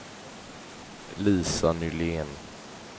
Lisa Nylén